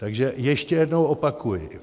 Takže ještě jednou opakuji.